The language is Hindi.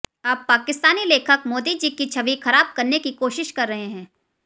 अब पाकिस्तानी लेखक मोदी जी की छवि खराब करने की कोशिश कर रहे हैं